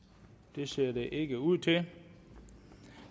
det ser det ikke ud til